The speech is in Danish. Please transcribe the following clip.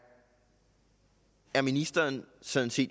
er ministeren sådan set